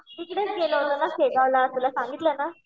तिकडेच गेलो होतो शेगावला तुला सांगितलं ना.